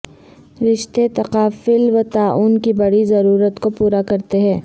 رشتے تکافل وتعاون کی بڑی ضرورت کو پورا کرتے ہیں